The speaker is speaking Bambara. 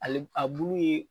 Ale a bulu ye